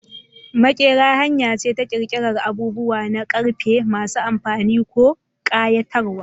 Maƙera hanya ce ta ƙirƙirar abubuwa na ƙarfe masu amfani ko ƙayatarwa.